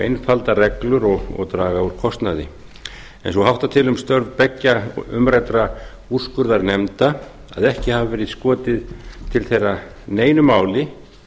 einfalda reglur og draga úr kostnaði svo háttar til um störf beggja umræddra úrskurðarnefna að ekki hafi verið skotið til þeirra neinu máli